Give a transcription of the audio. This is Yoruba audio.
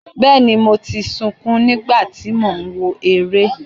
Bẹ́ẹ̀ni, mo ti sunkún ní ìgbà tí mò ń wo eré.